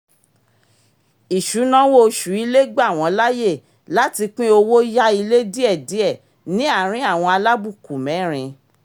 isunawo oṣù ilé gba wọ́n láyè láti pín owó yá ilé díẹ̀díẹ̀ ní àárín àwọn alábùkù mẹ́rin